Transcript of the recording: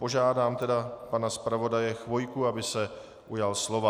Požádám tedy pana zpravodaje Chvojku, aby se ujal slova.